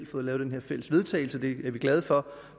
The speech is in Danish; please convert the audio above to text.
fået lavet den her fælles vedtagelse det er vi glade for